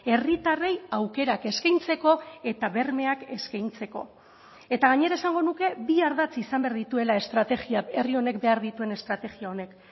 herritarrei aukerak eskaintzeko eta bermeak eskaintzeko eta gainera esango nuke bi ardatz izan behar dituela estrategia herri honek behar dituen estrategia honek